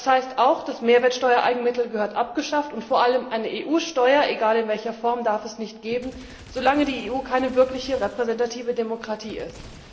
Das heißt auch, die Mehrwertsteuer Eigenmittel gehören abgeschafft, und vor allem darf es eine EU Steuer egal in welcher Form nicht geben, solange die EU keine wirkliche repräsentative Demokratie ist.